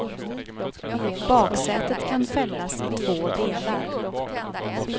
Baksätet kan fällas i två delar.